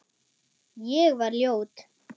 Ég var ljót.